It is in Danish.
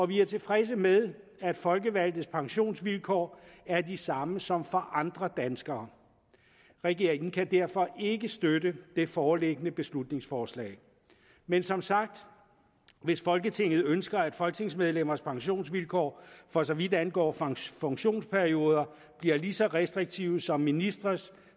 vi er tilfredse med at folkevalgtes pensionsvilkår er de samme som for andre danskere regeringen kan derfor ikke støtte det foreliggende beslutningsforslag men som sagt hvis folketinget ønsker at folketingsmedlemmers pensionsvilkår for så vidt angår funktionsperioder bliver lige så restriktive som ministres